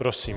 Prosím.